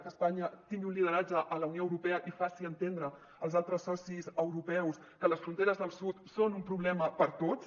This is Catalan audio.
que espanya tingui un lideratge a la unió europea i faci entendre als altres socis europeus que les fronteres del sud són un problema per a tots